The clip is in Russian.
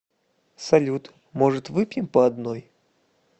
салют может выпьем по одной